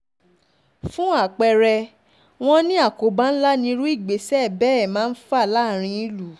fún àpẹẹrẹ wọn ni àkóbá ńlá ni irú ìgbésẹ̀ bẹ́ẹ̀ máa ń fà láàrin ìlú